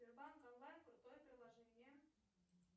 сбербанк онлайн крутое приложение